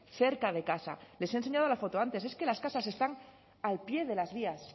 cerca de casa les he enseñado la foto antes es que las casas están al pie de las vías